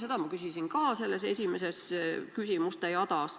Seda ma küsisin ka selles esimeses küsimuste jadas.